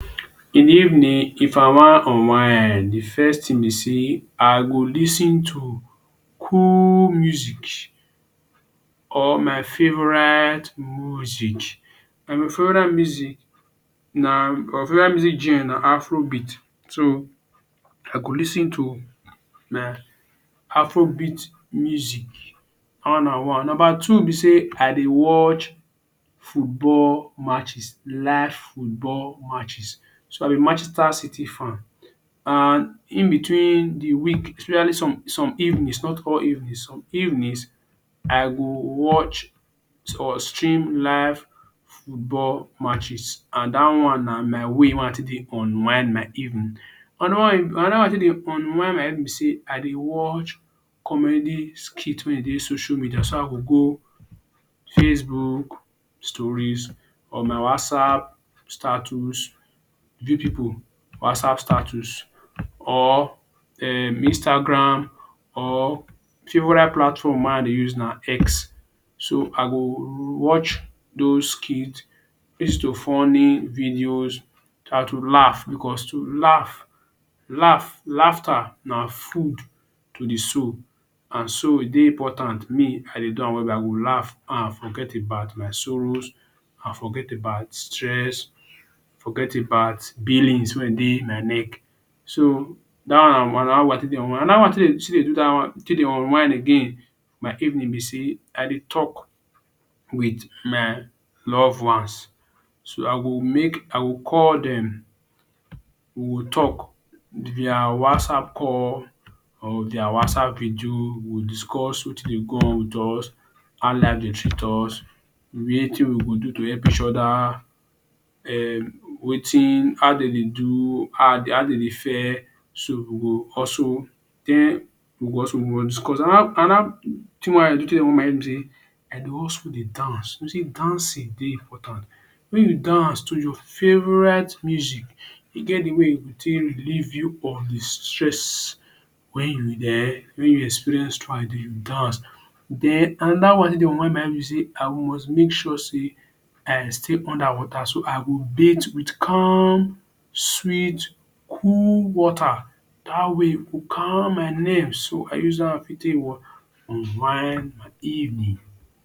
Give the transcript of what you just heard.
In the evening if i wan unwind, the first thing be sey i go lis ten to cool music or my favorite music. My favorite music na my favorite music genre na afro beat. So, I go lis ten to my afro beat music. Dat one na one. Number two be sey i dey watch football matches, live football matches. So, i be Manchester city fan and in between the week especially some some evenings not all evening some evenings I go watch or stream live football matches and dat one na my way wey i take dey unwind my evening. Another one another one wey i take dey unwind my evening be sey i dey watch comedy skit wey e dey social media. So, i go go facebook stories or my whatsapp status. View people whatsapp status or um Instagram or favourite platform wey i dey use na X. So, i go watch dos skit, lis ten to funny videos so dat to laugh because to laugh laugh laughter na food to the soul. And so, e dey important. Me, I dey do am well well. I go laugh and forget about my sorrows and forget about stress, forget about billings wey dey my neck. So, dat one na one, na dat one i take dey unwind. Another one wey i take dey still dey do dat one, take dey unwind again my evening be sey i dey talk with my love ones. So, i go make I go call dem, we go talk. If na on WhatsApp call or their WhatsApp video, we go discuss wetin dey go on with us, how life dey treat us, wetin we go do to help each other um wetin how de dey do, how de dey fare So, we go hustle tey we go hustle we must discuss. Another another thing wey i dey do take hold my head be sey, I dey also dey dance. You know sey dancing dey importance. When you dance to your favorite music, e get the way e go take relieve you of the stress when you um when you experience throughout the dance. Den another one i take dey unwind my head be sey, i must make sure sey i stay under water. So, I go bath with calm, sweet, cool water. Dat one wey e go calm my nerve. So, i use am fit take what unwind my evening.